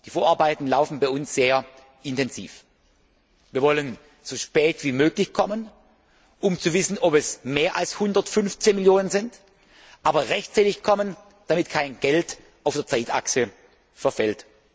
Die Vorarbeiten laufen bei uns sehr intensiv. Wir wollen ihn so spät wie möglich vorlegen, um zu wissen, ob es mehr als 115 Millionen Euro sind, aber rechtzeitig, damit kein Geld auf der Zeitachse verfällt.